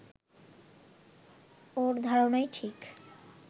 ওর ধারণাই ঠিক